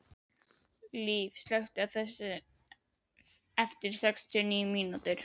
Liv, slökktu á þessu eftir sextíu og níu mínútur.